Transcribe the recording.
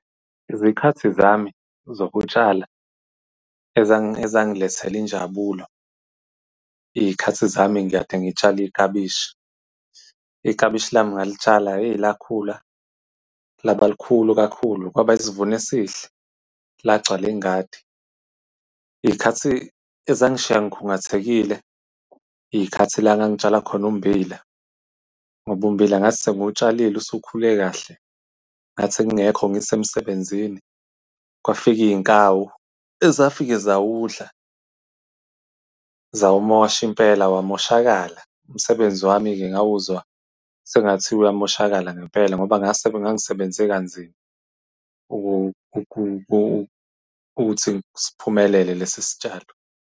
Izikhathi zami zokutshala ezangilethela injabulo, iy'khathi zami kade ngitshala iklabishi. Iklabishi lami ngalitshala hheyi, lakhula laba likhulu kakhulu kwaba isivuno esihle, lagcwala ingadi. Iy'khathi ezangishiya ngikhungathekile, iy'khathi la ngangitshala khona ummbila ngoba umbila ngathi sengiwutshalile usukhule kahle ngathi sengingekho ngisemsebenzini kwafika iy'nkawu ezafike zawudla zawumosha impela wamoshakala. Umsebenzi wami-ke ngawuzwa sengathi uyamoshakala ngempela ngoba ngangisebenze kanzima ukuthi siphumelele lesi sitshalo.